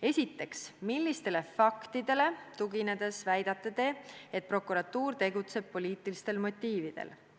Esiteks: millistele faktidele tuginedes te väidate, et prokuratuur tegutseb poliitilistel motiividel?